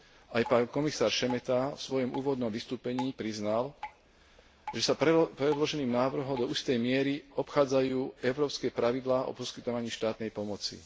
Aj pán komisár Šemeta vo svojom úvodnom vystúpení priznal, že sa predloženým návrhom do istej miery obchádzajú európske pravidlá o poskytovaní štátnej pomoci.